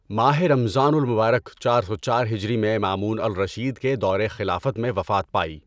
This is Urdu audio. ماہ رمضان المبارک چار سو چار ہجری میں مامون الرشید کے خلافت کے دور میں وفات پائی۔